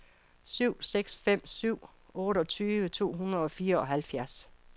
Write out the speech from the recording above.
syv seks fem syv otteogtyve to hundrede og fireoghalvfjerds